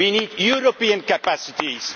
We need European capacities